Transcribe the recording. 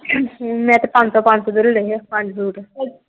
ਮੈਂ ਤੇ ਪੰਜਸੋ ਪੰਜਸੋ ਦੇ ਲੈ ਲਏ ਸੀ ਪੰਜ ਸੁੱਟ।